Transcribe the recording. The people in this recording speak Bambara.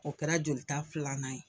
O kɛra jolita filanan ye